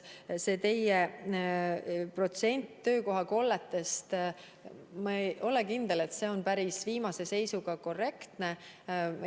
See teie protsent töökohakollete kohta – ma ei ole kindel, et see on viimase seisuga ja päris korrektne.